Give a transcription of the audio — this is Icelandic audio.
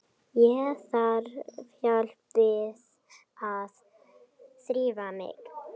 Ég þarf hjálp við að þrífa mig.